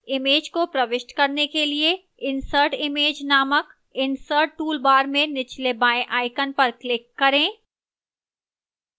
image को प्रविष्ट करने के लिए insert image named insert toolbar में निचले बाएं icon पर click करें